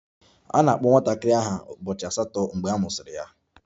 A na-akpọ nwatakịrị aha ụbọchị asatọ mgbe a mụsịrị ya